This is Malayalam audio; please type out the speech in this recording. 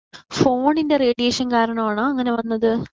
ഫോണിന്റെ റേഡിയേഷൻ കാരണമാണോ അങ്ങനെ വന്നത്?